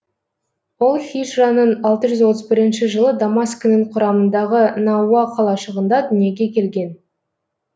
ол һижраның алты жүз отыз бірінші жылы дамаскінің құрамындағы науа қалашығында дүниеге келген